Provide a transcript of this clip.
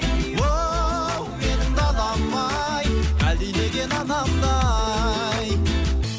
оу менің далам ай әлдилеген анамдай